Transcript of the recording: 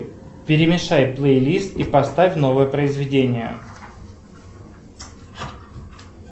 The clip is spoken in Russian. перемешай плейлист и поставь новое произведение